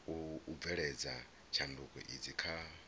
u bveledza tshanduko idzi kha